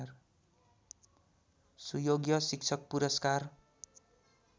सुयोग्य शिक्षक पुरस्कार